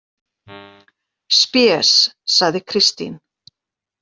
Spes, sagði Kristín.